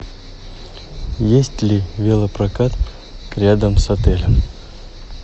есть ли велопрокат рядом с отелем